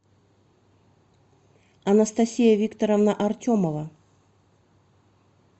анастасия викторовна артемова